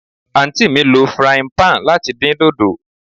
Aunty mi lo frying pan lati din dodo